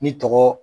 Ni tɔgɔ